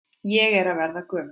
Ég er að verða gömul.